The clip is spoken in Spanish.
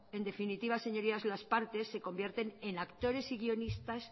en definitiva señorías las partes se convierten en actores y guionistas